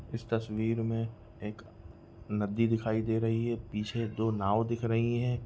इस तस्वीर में एक नदी दिखाई रही है पीछे दो नाव दिख रही है।